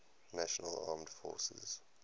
national armed forces